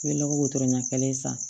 N bɛ lɔgɔ ɲɛ kelen san